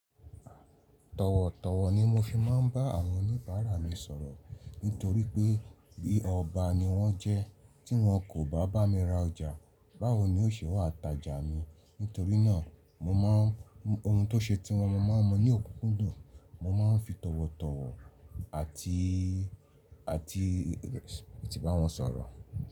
Tọ̀wọ̀tọ̀wọ̀ ni mo fi máa ń bá àwọn oníbàárà mi sọ̀rọ̀. Nítorí pé bí ọba ni wọ́n jẹ́ tí wọn kò bá bá mi ra ọjà báwo ni n ò ṣe wá ta jà mí. Nítorí náà mo má ń mu ohun tó ṣe tí wọn mo máa ń mú ní òkú kúndùn. Mo máa ń fi tọ̀wọ̀tọ̀wọ̀ àti, àti ètì bá wọn sọ̀rọ̀